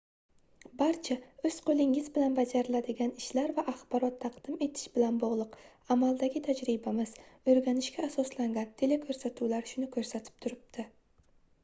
barcha oʻz qoʻlingiz bilan bajariladigan ishlar va axborot taqdim etish bilan bogʻliq amaldagi tajribamiz oʻrganishga asoslangan telekoʻrsatuvlar shuni koʻrsatib turibdi